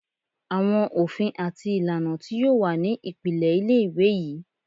Awọn ofin ati ilana ti yoo wa ni ipilẹ ile-iwe yii